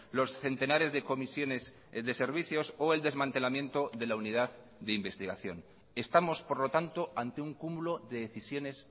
los centenares de comisiones de servicios o el desmantelamiento de la unidad de investigación estamos por lo tanto ante un cúmulo de decisiones